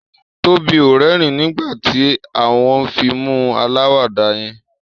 Tóbi o rérìn nígbàtí a wón fíìmù alawada yén